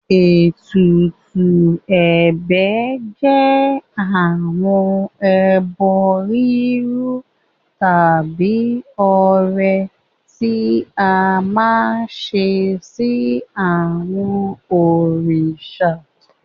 Ètùtù ẹ̀bẹ̀ jẹ́ àwọn ẹbọ rírú tàbí ọrẹ tí a máa ń ṣe sí àwọn òrìṣà.